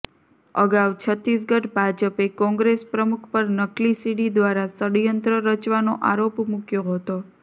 અગાઉ છતીસગઢ ભાજપે કોંગ્રેસ પ્રમુખ પર નકલી સીડી દ્વારા ષડયંત્ર રચવાનો આરોપ મૂક્યો હતો